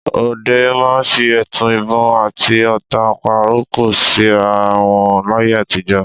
Ọdẹ máa ń fi ẹtu ìbọn àti ọ̀ta pàrokò síra wọn láyé àtijọ́.